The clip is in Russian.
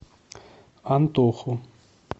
антоху